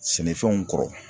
Sɛnɛfɛnw kɔrɔ